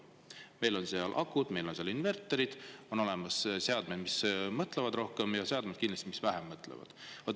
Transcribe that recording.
Meil on seal akud, meil on seal inverterid, on olemas seadmed, mis mõtlevad rohkem, ja ka seadmed, mis kindlasti vähem mõtlevad.